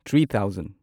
three thousand